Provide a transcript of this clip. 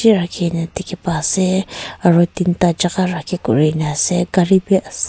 rakhina dekhe pa ase aro tinta jaka raki kurena ase gari bhi ase.